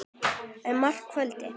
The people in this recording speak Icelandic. er mara kvaldi.